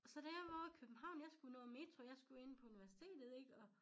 Så da jeg var ovre i København jeg skulle nå en metro jeg skulle ind på universitetet ikke og